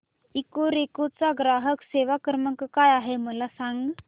Ecoreco चा ग्राहक सेवा क्रमांक काय आहे मला सांग